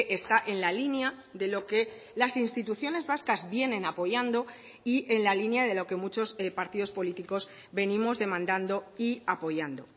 está en la línea de lo que las instituciones vascas vienen apoyando y en la línea de lo que muchos partidos políticos venimos demandando y apoyando